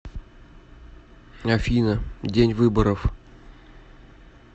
афина день выборов